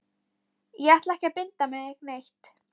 Ég ætla ekki að binda mig neitt.